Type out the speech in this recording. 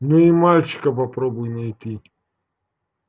но и мальчика попробуй найти